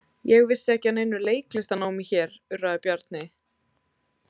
Ég vissi ekki af neinu leiklistarnámi hér, urraði Bjarni.